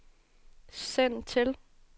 send til